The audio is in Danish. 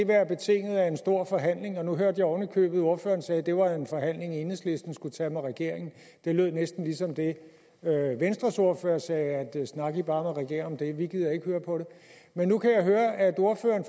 være betinget af en stor forhandling nu hørte jeg oven i købet at ordføreren sagde at det var en forhandling enhedslisten skulle tage med regeringen det lød næsten ligesom det venstres ordfører sagde snak i bare med regeringen om det vi gider ikke høre på det men nu kan jeg høre at ordføreren